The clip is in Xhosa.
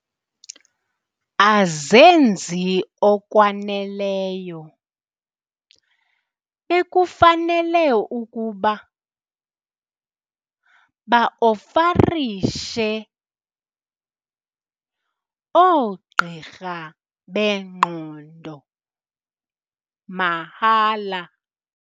Azenzi okwaneleyo ekufanele ukuba baofarishe oogqirha bengqondo mahala.